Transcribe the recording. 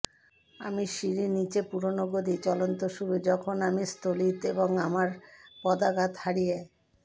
আমি সিঁড়ি নিচে পুরানো গদি চলন্ত শুরু যখন আমি স্খলিত এবং আমার পদাঘাত হারিয়ে